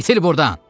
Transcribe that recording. İtil burdan!